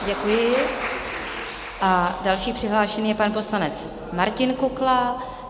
Děkuji a další přihlášený je pan poslanec Martin Kukla.